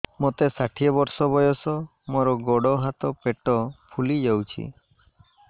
ମୋତେ ଷାଠିଏ ବର୍ଷ ବୟସ ମୋର ଗୋଡୋ ହାତ ପେଟ ଫୁଲି ଯାଉଛି